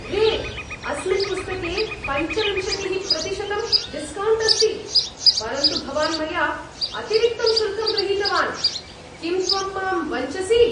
रे, अस्मिन् पुस्तके पञ्चविंशतिः प्रतिशतं डिस्कौण्ट् अस्ति, परन्तु भवान् मया अतिरिक्तं शुल्कं गृहीतवान्, किं त्वं मां वञ्चसि?